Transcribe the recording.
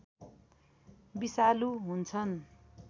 विषालु हुन्छन्